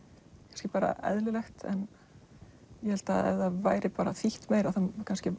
kannski bara eðlilegt en ég held að ef það væri þýtt meira þá